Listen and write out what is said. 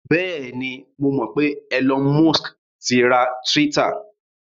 Bẹ́ẹ̀ni, mo mọ̀ pé Elon Musk ti ra Twitter.